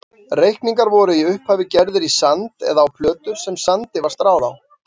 Reikningar voru í upphafi gerðir í sand eða á plötur sem sandi var stráð á.